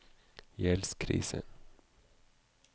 gjeldskrise